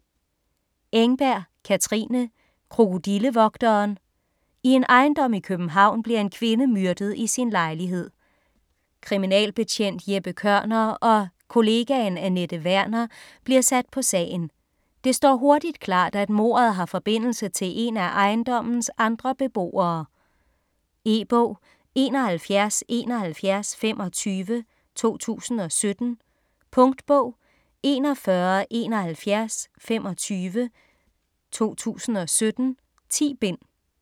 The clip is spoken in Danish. Engberg, Katrine: Krokodillevogteren I en ejendom i København bliver en kvinde myrdet i sin lejlighed. Kriminalbetjent Jeppe Kørner og kollegaen Anette Werner bliver sat på sagen. Det står hurtigt klart, at mordet har forbindelse til en af ejendommens andre beboere. E-bog 717125 2017. Punktbog 417125 2017. 10 bind.